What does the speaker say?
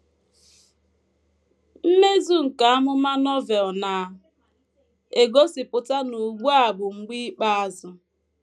Mmezu nke amụma Novel na - egosipụta na ugbu a bụ “ mgbe ikpeazụ. ”